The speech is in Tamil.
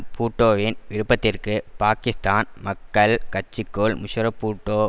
பூட்டோவின் விருப்பத்திற்கு பாக்கிஸ்தான் மக்கள் கட்சிக்குள் முஷரஃப்பூட்டோ